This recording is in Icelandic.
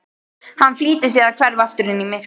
Hann flýtir sér að hverfa aftur inn í myrkrið.